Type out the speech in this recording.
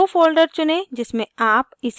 वो folder चुनें जिसमें आप इसे सेव करना चाहते हैं